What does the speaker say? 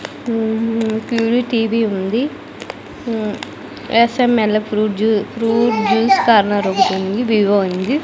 మ్మ్ హూ ప్యూరీ టీవీ ఉంది మ్మ్ SML fruit juice fruit juice corner ఒకటుంది వివో ఉంది.